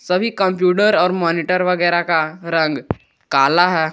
सभी कंप्यूटर और मॉनिटर वगैरह का रंग काला है।